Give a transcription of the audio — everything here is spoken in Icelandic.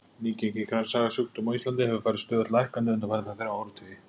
Nýgengi kransæðasjúkdóma á Íslandi hefur farið stöðugt lækkandi undanfarna þrjá áratugi.